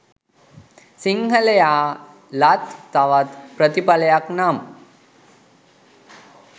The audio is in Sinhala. සිංහලයා ලත් තවත් ප්‍රතිඵලයක් නම්